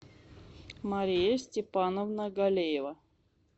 мария степановна галеева